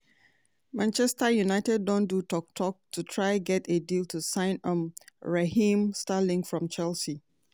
manchester united don do tok-tok to try get a deal to sign um raheem sterling from chelsea.